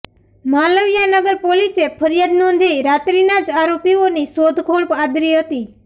માલવીયાનગર પોલીસે ફરિયાદ નોંધી રાત્રીના જ આરોપીઓની શોધખોળ આદરી હતી